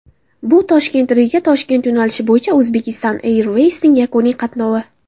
Bu ToshkentRigaToshkent yo‘nalishi bo‘yicha Uzbekistan Airways’ning yakuniy qatnovi.